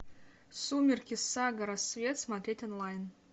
сумерки сага рассвет смотреть онлайн